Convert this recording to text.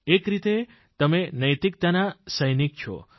એક રીતે તમે નૈતિકતાના સૈનિક છો